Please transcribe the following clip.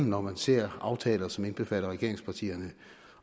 når man ser aftaler som indbefatter regeringspartierne